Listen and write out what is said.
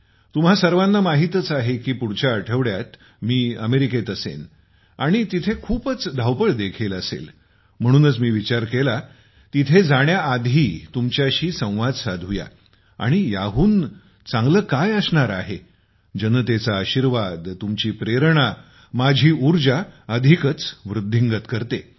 तुम्हा सर्वांना माहीतच आहे की पुढच्या आठवड्यात मी अमेरिकेमध्ये असणार आहे आणि तिथे खूपच धावपळ देखील असेल आणि म्हणूनच मी विचार केला तिथे जाण्याआधी तुमच्याशी चर्चा करूया आणि याहून चांगले काय असणार आहे जनतेचा आशीर्वाद तुमची प्रेरणा माझी उर्जा अधिकच वृद्धिंगत करते